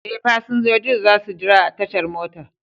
Ee, fasinjojin za su jira a tashar motar.